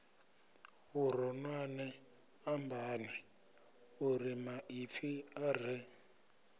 vhuronwane ambani urimaipfi a re